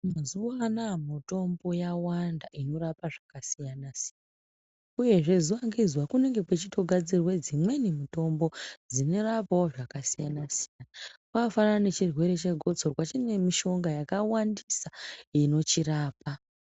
Mazuwanawa mitombo yawanda inorapa zvakasiyana siyana. Uyezve zuwa ngezuwa kunenge kwechitogadzirwa dzimweni mitombo dzinorapawo zvakasiyana siyana. Kwakafanana nechirwere chegotsorwa chine mishonga yakawandisa inochirapa.